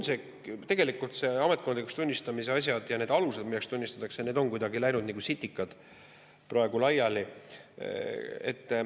Tegelikult ametkondlikuks kasutamiseks tunnistamise asjad, need alused, millal tunnistatakse, on kuidagi läinud nagu sitikad praegu laiali.